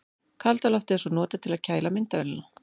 Kalda loftið er svo notað til að kæla myndavélina.